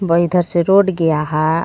भाई इधर से रोड गया हां.